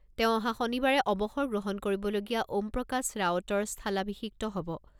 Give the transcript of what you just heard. তেওঁ অহা শনিবাৰে অৱসৰ গ্ৰহণ কৰিবলগীয়া অ'মপ্ৰকাশ ৰাওটৰ স্থালাভিষিক্ত হ'ব।